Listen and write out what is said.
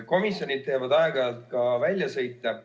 Komisjonid teevad aeg-ajalt ka väljasõite.